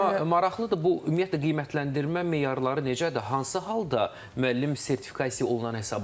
Amma maraqlıdır, bu ümumiyyətlə qiymətləndirmə meyarları necədir, hansı halda müəllim sertifikasiya olunan hesab olunur?